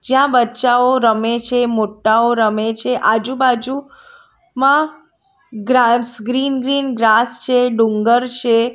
જ્યાં બચ્ચાઓ રમે છે મોટાઓ રમે છે આજુબાજુ માં ગ્રાસ ગ્રીન ગ્રીન ગ્રાસ છે ડુંગર છે.